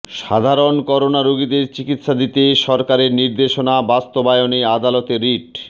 সাধারণ করোনা রোগীদের চিকিৎসা দিতে সরকারের নির্দেশনা বাস্তবায়নে আদালতে রিট